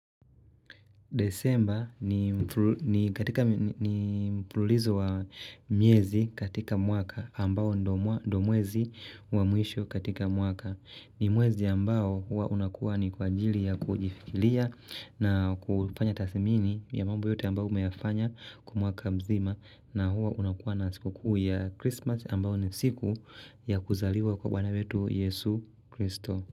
Desemba ni mpululizo wa miezi katika mwaka ambao ndo mwezi wa mwisho katika mwaka. Ni mwezi ambao huwa unakuwa ni kwa ajili ya kujifikilia na kufanya tasimini ya mambo yote ambao umefanya kwa mwaka mzima. Na huwa unakuwa na siku kuu ya Christmas ambao ni siku ya kuzaliwa kwa bwana wetu Yesu Christo.